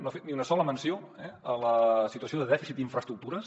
no ha fet ni una sola menció a la situació de dèficit d’infraestructures